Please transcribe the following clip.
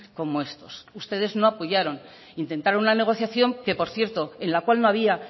como estos ustedes no apoyaron intentaron una negociación que por cierto en la cual no había